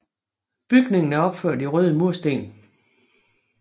Bygningen er opført i røde mursten